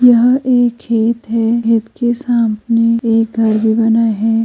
यह एक खेत है। खेत के सामने एक घर भी बना है।